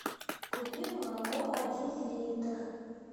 купи молоко один литр